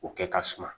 O kɛ ka suma